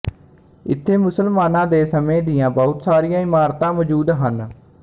ਇਥੇ ਮੁਸਲਮਾਨਾਂ ਦੇ ਸਮੇਂ ਦੀਆਂ ਬਹੁਤ ਸਾਰੀਆਂ ਇਮਾਰਤਾਂ ਮੌਜੂਦ ਹਨ